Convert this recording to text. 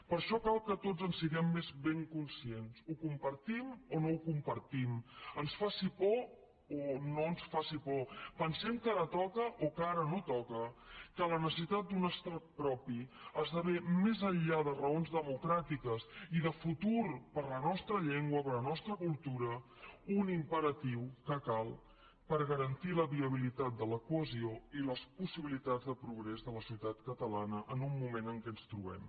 per això cal que tots en siguem ben conscients ho compartim o no ho compartim ens faci por o no ens faci por pensem que ara toca o que ara no toca que la necessitat d’un estat propi esdevé més enllà de raons democràtiques i de futur per a la nostra llengua i per a la nostra cultura un imperatiu que cal per garantir la viabilitat de la cohesió i les possibilitats de progrés de la societat catalana en un moment en què ens trobem